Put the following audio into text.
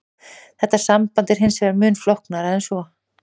Þetta samband er hins vegar mun flóknara en svo.